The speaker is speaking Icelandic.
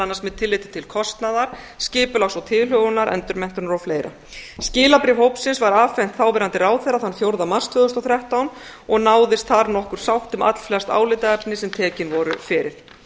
annars með tilliti til kostnaðar skipulags og tilhögunar endurmenntunar og fleira skilabréf hópsins var afhent þáverandi ráðherra þann fjórða mars tvö þúsund og þrettán og náðist þar nokkur sátt um allflest álitaefni sem tekin voru fyrir